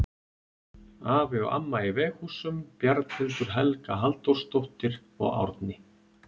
Afi og amma í Veghúsum, Bjarnhildur Helga Halldórsdóttir og Árni